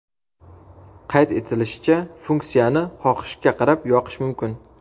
Qayd etilishicha, funksiyani xohishga qarab yoqish mumkin.